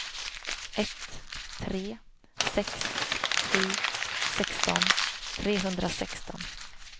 ett tre sex sju sexton trehundrasexton